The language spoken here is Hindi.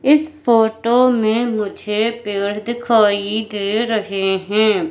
इस फोटो में मुझे पेड़ दिखाई दे रहे हैं।